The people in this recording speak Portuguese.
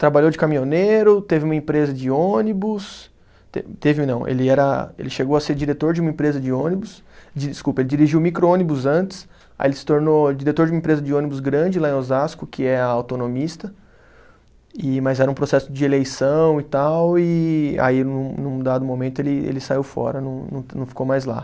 Trabalhou de caminhoneiro, teve uma empresa de ônibus, te teve não, ele era, ele chegou a ser diretor de uma empresa de ônibus, desculpa, ele dirigiu micro-ônibus antes, aí ele se tornou diretor de uma empresa de ônibus grande lá em Osasco, que é a Autonomista, e mas era um processo de eleição e tal, e aí num num dado momento ele saiu fora, não não ficou mais lá.